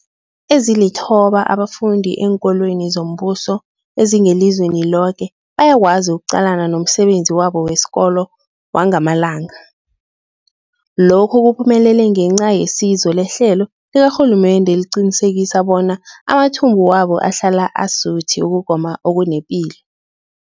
Ezilithoba abafunda eenkolweni zombuso ezingelizweni loke bayakwazi ukuqalana nomsebenzi wabo wesikolo wangamalanga. Lokhu kuphumelele ngenca yesizo lehlelo likarhulumende eliqinisekisa bona amathumbu wabo ahlala asuthi ukugoma okunepilo.